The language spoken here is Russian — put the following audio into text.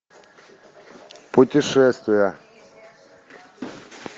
путешествия